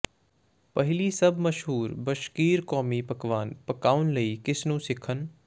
ਪਹਿਲੀ ਸਭ ਮਸ਼ਹੂਰ ਬਸ਼ਕੀਰ ਕੌਮੀ ਪਕਵਾਨ ਪਕਾਉਣ ਲਈ ਕਿਸ ਨੂੰ ਸਿੱਖਣ